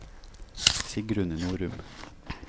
Sigrun Norum